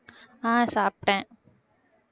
ஆஹ் சாப்பிட்டேன்